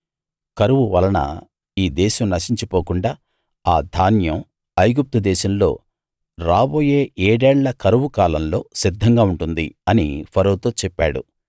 కరువు వలన ఈ దేశం నశించి పోకుండా ఆ ధాన్యం ఐగుప్తు దేశంలో రాబోయే ఏడేళ్ళ కరువు కాలంలో సిద్ధంగా ఉంటుంది అని ఫరోతో చెప్పాడు